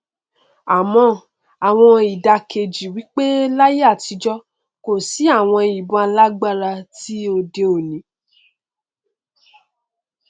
àmọ àwọn ìdàkejì wí pé láyé àtijọ kò tíì sí àwọn ìbọn alágbára ti òde òni